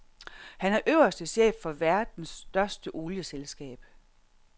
Han er øverste chef for verdens største olieselskab.